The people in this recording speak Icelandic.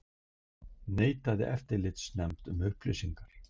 Neitaði eftirlitsnefnd um upplýsingar